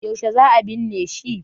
yaushe za a binne shi?